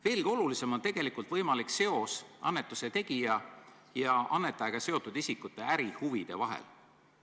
Veelgi olulisem on tegelikult võimalik seos annetuse tegija ja annetajaga seotud isikute ärihuvide vahel.